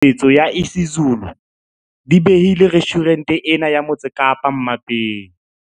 Dijo tse nang le tshusumetso ya isiZulu di behile restjhurente ena ya Motse Kapa mmapeng.